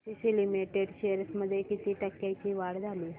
ACC limited shares मध्ये किती टक्क्यांची वाढ झाली